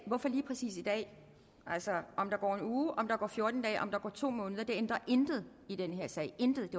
hvorfor lige præcis i dag altså om der går en uge om der går fjorten dage eller om der går to måneder ændrer intet i den her sag intet